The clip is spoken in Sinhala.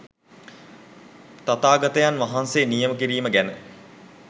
තථාගතයන් වහන්සේ නියම කිරීම ගැන